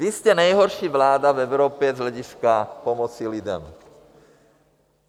Vy jste nejhorší vláda v Evropě z hlediska pomoci lidem.